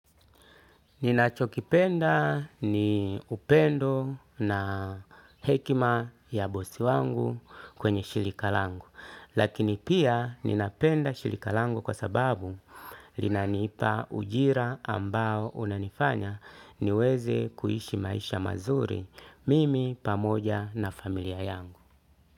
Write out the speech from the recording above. Ninachokipenda ni upendo na hekima ya bosi wangu kwenye shirika langu, lakini pia ninapenda shirika langu kwa sababu linanipa ujira ambao unanifanya niweze kuishi maisha mazuri mimi pamoja na familia yangu.